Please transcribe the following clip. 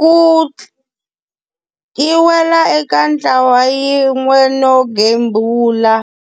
ku yi wela eka ntlawa yin'we no gembula.